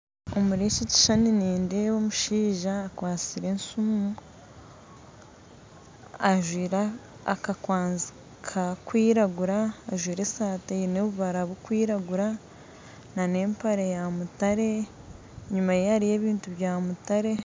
Omuri eki ekishushani nindeeba omushaija akwatsire esumu ajwaire akakwanzi karikwiragura ajwaire esaati eine obubara burikwiragura nana empare yamutare enyumaye hariyo ebintu byamutare